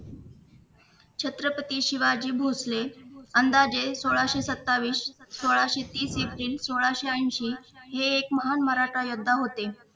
छत्रपती शिवाजी भोसले अंदाजे सोळाशे सत्तावीस सोळाशे तीस एप्रिल सोळाशे ऐंशी हे एक महान मराठा योद्धा होते.